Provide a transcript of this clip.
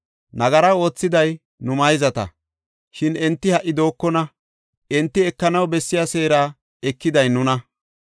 Nagara oothiday nu mayzata, shin enti ha77i dookona; enti ekanaw bessiya seera ekiday nuna.